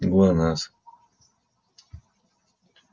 глонассс